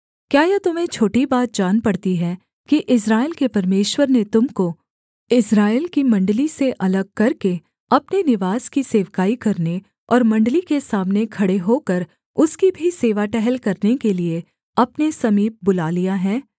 क्या यह तुम्हें छोटी बात जान पड़ती है कि इस्राएल के परमेश्वर ने तुम को इस्राएल की मण्डली से अलग करके अपने निवास की सेवकाई करने और मण्डली के सामने खड़े होकर उसकी भी सेवा टहल करने के लिये अपने समीप बुला लिया है